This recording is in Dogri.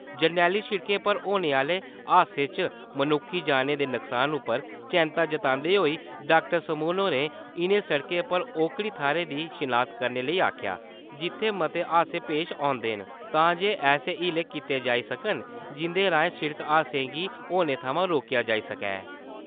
जरनैली सिड़कें पर होने आह्‌ले हादसें च मनुक्खी जानें दे नुक्सान उप्पर चिता जतांदे होई डाक्टर समून होरें इ`नें सिड़कें पर ओकड़ी थाहरें दी शनाख्त करने लेई आखेआ जित्थै मते हादसे पेश औंदे न, तां जे ऐसे हीले कीते जाई सकन जिं`दे राएं सिड़क हादसें गी होने थमां रोकेआ जाई सकै।